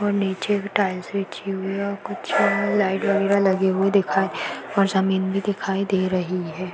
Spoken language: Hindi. और नीचे भी टाइल्स बिछी हुई है और कुछ लाइट वगैरह लगी हुई दिखाई और जमीन भी दिखाई दे रही है।